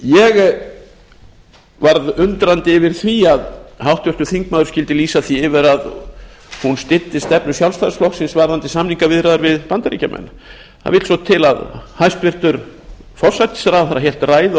ég varð undrandi yfir því að háttvirtur þingmaður skyldi lýsa því yfir að hún styddi stefnu sjálfstæðisflokksins varðandi samningaviðræður við bandaríkjamenn það vill svo til að hæstvirtur forsætisráðherra hélt ræðu á